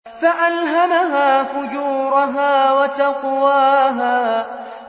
فَأَلْهَمَهَا فُجُورَهَا وَتَقْوَاهَا